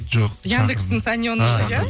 жоқ яндекстің